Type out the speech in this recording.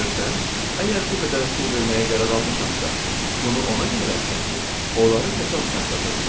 Əgər bu qədər pul verməyə qərar almışamsa, bunu ona görə eləmişəm ki, onları təsadüfən satırdılar.